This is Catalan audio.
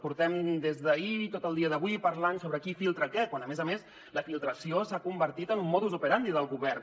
portem des d’ahir tot el dia d’avui parlant sobre qui filtra què quan a més a més la filtració s’ha convertit en un modus operandi del govern